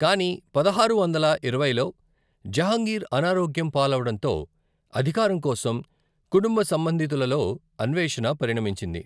కానీ పదహారు వందల ఇరవైలో, జహంగీర్ అనారోగ్యం పాలవడంతో, అధికారం కోసం కుటుంబ సంబంధితులలో అన్వేషణ పరిణమించింది.